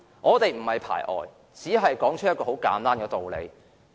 我們並非排外，只是說出一個簡單的事實。